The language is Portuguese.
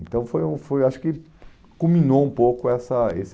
Então foi um foi acho que culminou um pouco essa esse